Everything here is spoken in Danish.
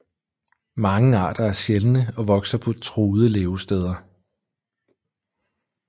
Mange arter er sjældne og vokser på truede levesteder